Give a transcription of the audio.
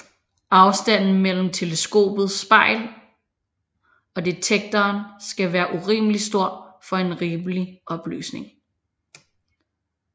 Afstanden mellem teleskopets spejl og detektoren skal være urimelig stor for en rimelig opløsning